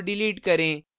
4 delete करें